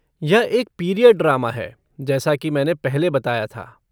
यह एक period drama है, जैसा कि मैंने पहले बताया था।